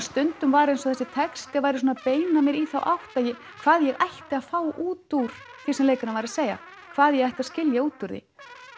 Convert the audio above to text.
stundum var eins og þessi texti væri að beina mér í þá átt hvað ég ætti að fá út úr því sem leikarinn var að segja hvað ég ætti að skilja út úr því